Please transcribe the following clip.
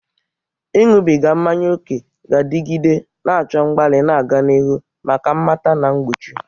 Ịṅụbiga mmanya ókè ga-adịgide, na-achọ mgbalị na-aga n'ihu maka mmata na mgbochi.